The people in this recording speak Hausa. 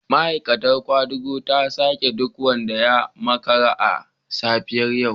Ma'aikatar kwadago ta saki duk wanda ya makara a safiyar yau